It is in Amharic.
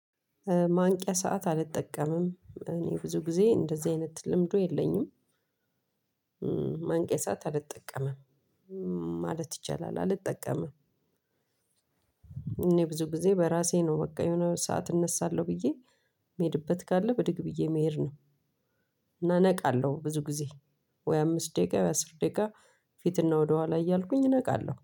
ማንቂያ ሰዓት አልጠቀምም እኔ ብዙ ጊዜ እንደዚህ አይነት ልምዱ የለኝም። ማንቂያ አልጠቀምም። ማለት ይቻላል አልጠቀምም። እኔ ብዙ ጊዜ በራሴ ነው በቃ የሆነ ሰዓት እነሳለሁ ብዬ የምሄድበት ካለ ብድግ ብዬ መሄድ ነው። ነቃለሁ ብዙ ጊዜ ወይ አምስት ደቂቃ ወይ አስር ደቂቃ ፊትና ወደኋላ እያልኩኝ እነቃለሁ